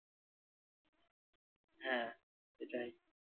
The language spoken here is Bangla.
হ্যাঁ এটাই।